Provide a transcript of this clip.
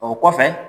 O kɔfɛ